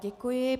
Děkuji.